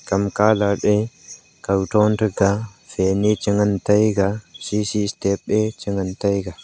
kam colourt e kawthron taiga fan e chengan taiga cc chengan taiga.